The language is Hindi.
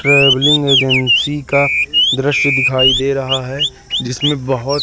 ट्रैवलिंग एजेंसी का दृश्य दिखाई दे रहा है जिसमें बहुत--